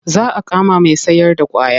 Za a kama mai sayarda ƙwaya.